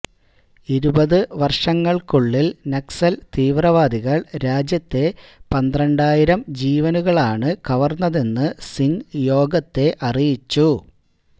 ഇരുപത് വര്ഷങ്ങള്ക്കുള്ളില് നക്സല് തീവ്രവാദികള് രാജ്യത്തെ പന്ത്രാണ്ടായിരം ജീവനുകളാണ് കവര്ന്നതെന്ന് സിംഗ് യോഗത്തെ അറിയിച്ചു